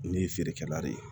Ne ye feerekɛla de ye